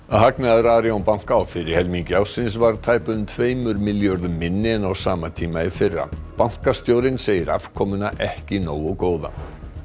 hagnaður Arion banka á fyrri helmingi ársins var tæpum tveimur milljörðum minni en á sama tíma í fyrra bankastjórinn segir afkomuna ekki nógu góða